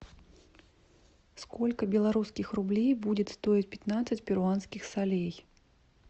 сколько белорусских рублей будет стоить пятнадцать перуанских солей